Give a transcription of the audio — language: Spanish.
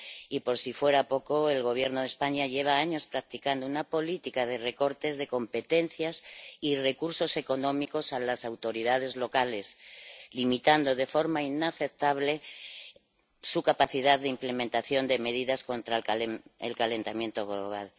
Y, por si fuera poco, el Gobierno de España lleva años practicando una política de recortes de competencias y recursos económicos a las autoridades locales, limitando de forma inaceptable su capacidad de implementación de medidas contra el calentamiento global.